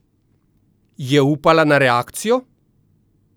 Je upala na reakcijo?